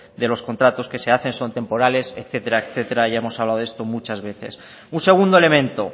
de los contratos que se hacen son temporales etcétera etcétera ya hemos hablado de esto muchas veces un segundo elemento